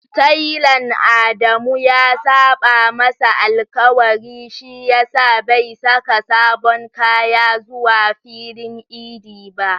Talan Adamu ya saɓa masa alƙawari shi yasa bai saka sabon kaya zuwa filin idi ba.